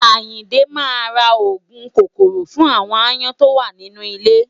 Àyìndé máa ra òògùn kòkòrò fún àwon aáyán tó wà nínú ilé.